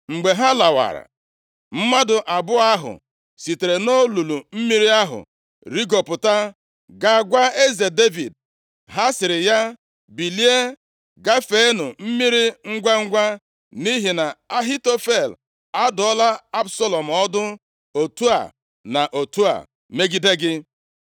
Mgbe ha lawara, mmadụ abụọ ahụ sitere nʼolulu mmiri ahụ rigopụta, gaa gwa eze Devid. Ha sịrị ya, “Bilie gafeenụ mmiri ngwangwa, nʼihi na Ahitofel adụọla Absalọm ọdụ otu a na otu a megide gị.”